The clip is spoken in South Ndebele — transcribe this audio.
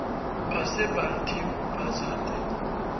baseball team based